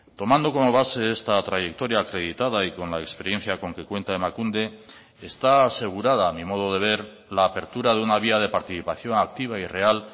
tomando como base esta trayectoria acreditada y con la experiencia con que cuenta emakunde está asegurada a mi modo de ver la apertura de una vía de participación activa y real